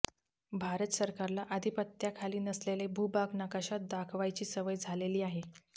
भारत सरकारला अधिपत्याखाली नसलेले भूभाग नकाशात दाखवायची सवय झालेली आहे